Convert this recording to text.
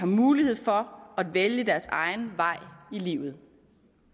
mulighed for at vælge deres egen vej i livet